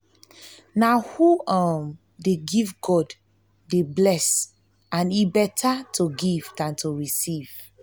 na who um dey give god dey bless and e beta to give dan to receive